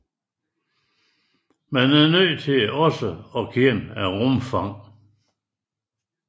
Man er nødt til også at kende rumfanget